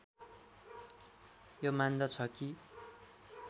यो मान्दछ कि